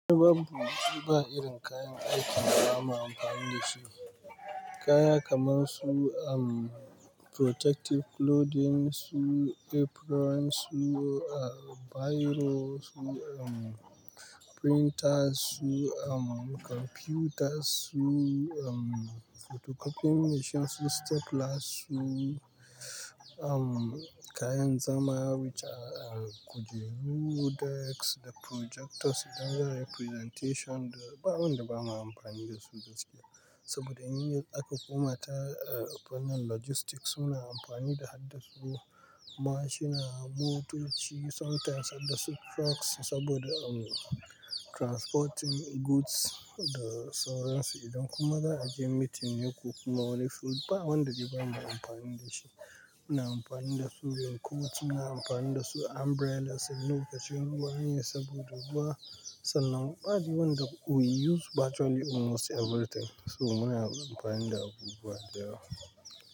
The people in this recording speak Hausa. Ai babu ba irin kayan aikin da za mu yi amfani da shi. Kaya kamar su um protective clothing su, aprons su, um biro su, um printers su, um computers su, um photocopying machine su, staplers su, um kayan zama which are kujeru, decks da projectors idan za a yi presentation. Ba abunda bama amfani da su gaskiya saboda in aka komata um fannin logistics suna amfani da haddasu mashina, motoci sometimes haddasu trucks saboda um transporting goods da sauransu idan kuma za a je meeting yoku kuma wole food. Ba wanda dai bama amfani da shi. Muna amfani da su yanku, muna amfani da su umbrellas in lokacin ruwa an yi saboda ba sannan ba. Adi wanda we use virtually almost everything. So muna amfani da abubuwa da yawa.